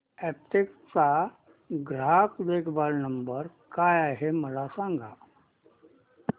Aptech चा ग्राहक देखभाल नंबर काय आहे मला सांग